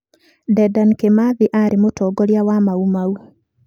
Dedan Kimathi aarĩ mũtongoria wa Mau Mau.